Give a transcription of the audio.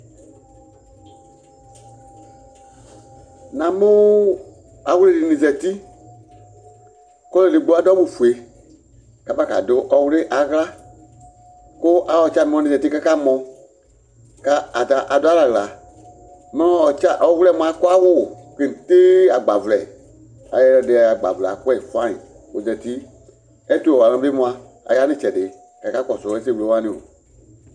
na mu awli dini zati, ku ɔlu edigbo adu awu fue kaba kadu ɔwli aɣla, ku ayi tsʋami wʋani zati kaka mɔ , ku ata adu alɛ aɣla, mu ɔwliɛ mʋa adu awu kete agba vlɛ, ɛyɛdi agba vlɛ akɔɛ fangni k'ozati, ɛtu wɛ alu wʋani bi mʋa aya nu itsɛdi kaka kɔsu ɛsɛ wle wʋanioo